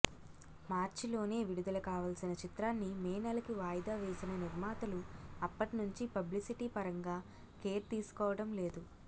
మార్చిలోనే విడుదల కావాల్సిన చిత్రాన్ని మే నెలకి వాయిదా వేసిన నిర్మాతలు అప్పట్నుంచి పబ్లిసిటీ పరంగా కేర్ తీసుకోవడం లేదు